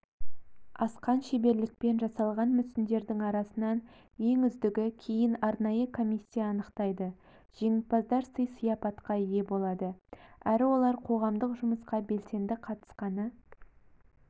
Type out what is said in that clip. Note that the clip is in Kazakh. асқан шеберлікпен жасалған мүсіндердің арасынан ең үздігін кейін арнайы комиссия анықтайды жеңімпаздар сый-сияпатқа ие болады әрі олар қоғамдық жұмысқа белсенді қатысқаны